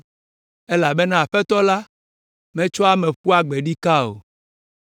Elabena Aƒetɔ la metsɔa ame ƒua gbe ɖikaa o